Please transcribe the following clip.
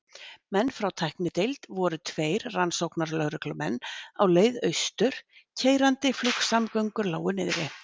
menn frá tæknideild voru tveir rannsóknarlögreglumenn á leið austur keyrandi- flugsamgöngur lágu niðri.